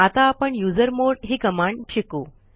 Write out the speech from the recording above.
आता आपण युझरमॉड ही कमांड शिकू